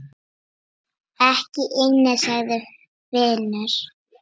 Ekki inni, sagði Finnur.